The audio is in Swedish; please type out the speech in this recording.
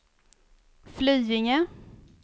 Flyinge